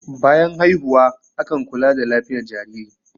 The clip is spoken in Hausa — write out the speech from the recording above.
bayan haihuwa akan kula da lafiyat jariri